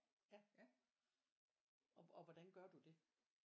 Ja og og hvordan gør du det?